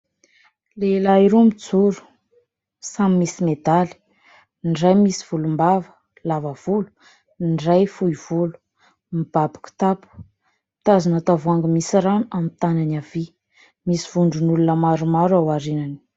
Lehilahy roa mijoro samy misy medaly. Ny iray misy volom-bava lava volo, ny iray fohy volo, mibaby kitapo, mitazona tavoahangy misy rano amin'ny tanany havia. Misy vondron'olona maro maro ao arinany.